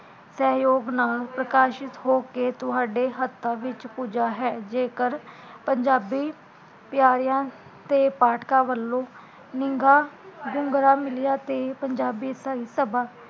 ਸਹਯੋਗ ਨਾਲ਼ ਨਿਕਾਸ਼ਿਤ ਹੋ ਕੇ ਤੁਹਾਡੇ ਹੱਥਾਂ ਵਿੱਚ ਪੂਜਾ ਹੈ, ਜੇਕਰ ਪੰਜਾਬੀ ਪਿਆਰਿਆ ਤੇ ਪਾਠਕਾਂ ਵੱਲੋਂ ਨਿਗਾ ਹੁੰਗਰਾ ਮਿਲਿਆ ਤੇ ਪੰਜਾਬੀ ਭਾਈ ਸਭਾ